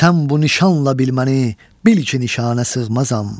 Sən bu nişanla bilməni, bil ki nişanə sığmazam.